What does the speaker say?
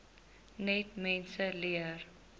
net mense leer